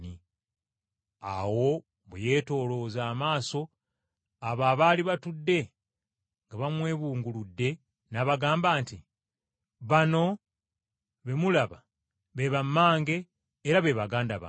Awo bwe yeetoolooza amaaso abo abaali batudde nga bamwebunguludde, n’abagamba nti, “Bano be mulaba be bammange era be baganda bange!